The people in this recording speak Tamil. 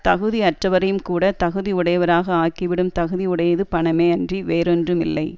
தகுதி அற்றவரையும்கூடத் தகுதி உடையவராக ஆக்கிவிடும் தகுதி உடையது பணமே அன்றி வேறொன்றும் இல்லை